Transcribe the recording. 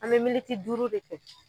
An be militi duuru de kɛ